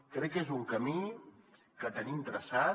crec que és un camí que tenim traçat